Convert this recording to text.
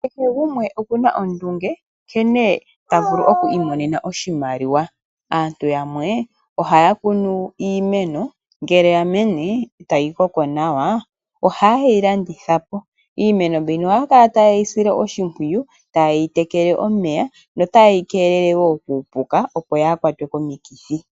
Kehe gumwe oku na ondunge nkene ta vulu okwiimonena oshimaliwa. Aantu yamwe ohaya kunu iimeno ngele ya mene, e ta yi koko nawa, ohaye yi landitha po. Iimeno mbika ohaya kala taye yi sile oshimpwiyu taye yi tekele omeya yo taye yi kelele kuupuka opo yaa kwatwe komikithi.